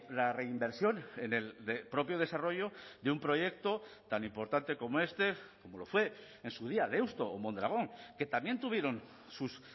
la reinversión en el propio desarrollo de un proyecto tan importante como este como lo fue en su día deusto o mondragon que también tuvieron sus